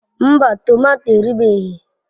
Mba tomato erubeghị.